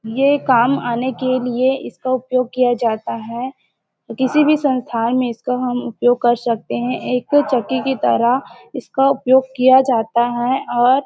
ये काम आने के लिए इसका उपयोग किया जाता हैं किसी भी संस्थाओ में इसका हम उपयोग कर सकते हैं एक चक्की की तरह इसका उपयोग किया जाता हैं और--